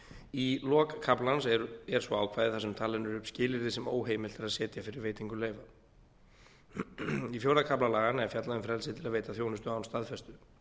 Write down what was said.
í lok kaflans er svo ákvæði þar sem talin eru upp skilyrði sem óheimilt er að setja fyrir veitingu leyfa í fjórða kafla laganna er fjallað um frelsið til að veita þjónustu án staðfestu